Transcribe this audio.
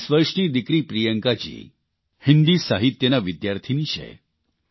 23 વર્ષની દિકરી પ્રિયંકાજી હિન્દી સાહિત્યનાં વિદ્યાર્થીની છે